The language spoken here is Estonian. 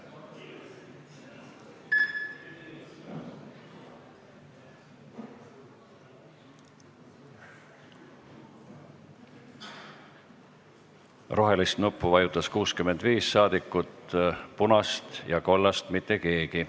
Hääletustulemused Rohelist nuppu vajutas 65 rahvasaadikut, punast ega kollast ei vajutanud mitte keegi.